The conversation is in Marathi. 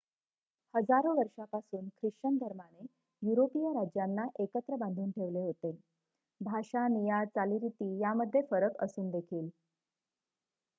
हजारो वर्षापासून ख्रिश्चन धर्माने युरोपीय राज्यांना एकत्र बांधून ठेवले होते भाषा निया चालीरीती यामध्ये फरक असून देखील